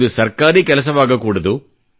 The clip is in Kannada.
ಇದು ಸರ್ಕಾರಿ ಕೆಲಸವಾಗಕೂಡದು